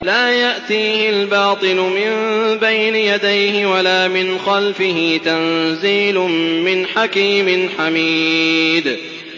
لَّا يَأْتِيهِ الْبَاطِلُ مِن بَيْنِ يَدَيْهِ وَلَا مِنْ خَلْفِهِ ۖ تَنزِيلٌ مِّنْ حَكِيمٍ حَمِيدٍ